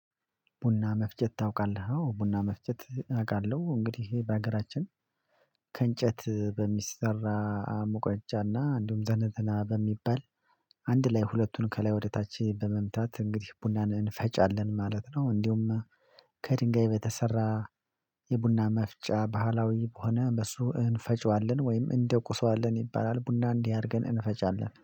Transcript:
ቡና መፍጨት ታውቃለህ? አዎ ቡና መፍጨት አውቃለሁ እንግዲህ ይሄ በሀገራችን ከእንጨት በሚሰራ ሙቀጫና እንዲሁም ዘነዘና በሚባል አንድ ላይ ሁለቱን ከላይ ወደታች በመምታት እንግዲህ ቡናን እንፈጫለን ማለት ነው። እንደውም ከድንጋይ በተሰራ የቡና መፍጫ ባህላዊ በሆነ በሱ እንፈጨዋለን ወይም እንደቁሰዋለን ይባላል። ቡና እንዲህ አድርገን እንፈጫለን